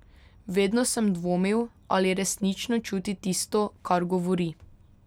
Vedno sem dvomil, ali resnično čuti tisto, kar govori.